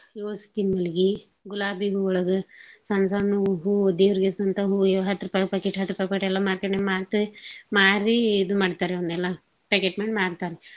ಯೋಳ ಸುತ್ತೀನ ಮಲ್ಗೀ ಗುಲಾಬಿ ಹೂವಳಗ ಸಣ್ ಸಣ್ ಹೂ ದೇವ್ರ್ಗೇರ್ಸೊಂತಾವ್ ಹೂ ಹತ್ ರುಪಾಯ್ packet ಹತ್ ರುಪಾಯ್ ಟ್ಟೆಲ್ಲಾ market ನಾಗ ಮಾರೀ ಇದುನ್ ಮಾಡ್ತಾರ್ರೀ ಅವ್ನೆಲ್ಲಾ packet ಮಾಡ್ ಮಾರ್ತಾರ್.